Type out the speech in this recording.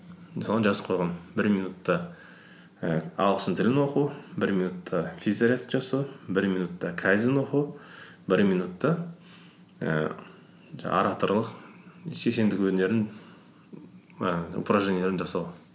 мысалы жазып қойғанмын бір минутта і ағылшын тілін оқу бір минутта физзарядка жасау бір минутта кайдзен оқу бір минутта ііі жаңағы ораторлық шешендік өнерінің і упражненияларын жасау